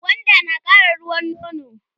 gwanda nakara ruwan nono